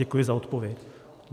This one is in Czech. Děkuji za odpověď.